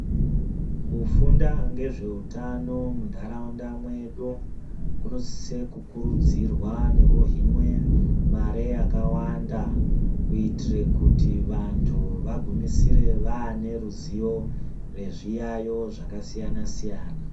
Kufunda ngezveutano muntaraunda mwedu kunosise kukurudzirwa nekuhinwe mare yakawanda kuitire kuti vantu vagumisire vaane ruzivo rezviyaiyo zvakasiyana-siyana.